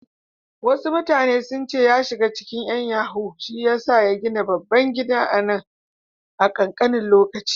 Wasu mutane sun ce ya shiga cikin ƴan yahoo shiyasa ya gina babban gidan nan a ƙanƙanin lokaci.